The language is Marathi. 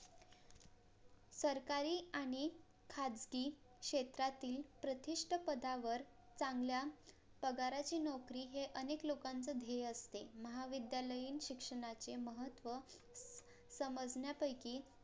सरकारी आणि खाजगी क्षेत्रातील प्रतिष्ठ पदावर चांगल्या पगाराची नोकरी हे अनेक लोकांचे ध्येय असते महाविद्यालयीन शिक्षणाचे महत्त्व समजण्यापैकी